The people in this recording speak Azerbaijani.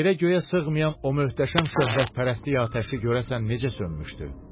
Yerə-göyə sığmayan o möhtəşəm şöhrətpərəstlik atəşi görəsən necə sönmüşdü?